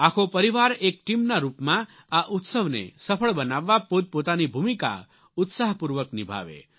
આખો પરિવાર એક ટીમના રૂપમાં આ ઉત્સવને સફળ બનાવવા પોતપોતાની ભૂમિકા ઉત્સાહપૂર્વક નિભાવે